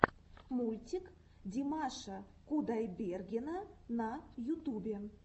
мультик димаша кудайбергена на ютубе